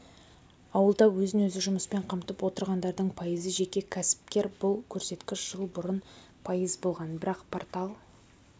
ауылда өзін-өзі жұмыспен қамтып отырғандардың пайызы жеке кәсіпкер бұл көрсеткіш жыл бұрын пайыз болған бірақ портал